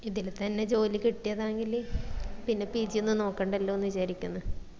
ഇതില് തന്നെ ജോലി കിട്ടിയതെങ്കിൽ പിന്നെ pg ഒന്നും നോക്കണ്ടല്ലോന്ന് വിചാരിക്കിന്ന്